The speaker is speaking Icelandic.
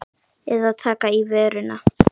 Eða taka í vörina.